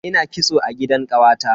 Ina kitso a gidan kawata.